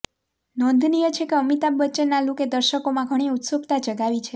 નોંધનીય છે કે અમિતાભ બચ્ચનના લૂકે દર્શકોમાં ઘણી ઉત્સુકતા જગાવી છે